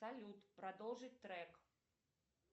салют продолжить трек